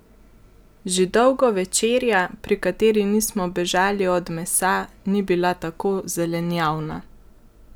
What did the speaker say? Že dolgo večerja, pri kateri nismo bežali od mesa, ni bila tako zelenjavna!